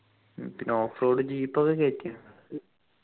ഉം പിന്നെ off road jeep ഒക്കെ കേറ്റി